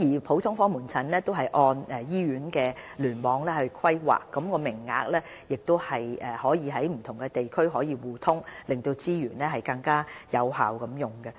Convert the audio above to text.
普通科門診按照醫院聯網規劃，地區內各普通科門診的名額可互通，令資源能更有效運用。